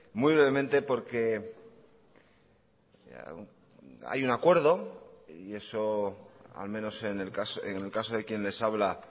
muy brevemente porque hay un acuerdo y eso al menos en el caso de quien les habla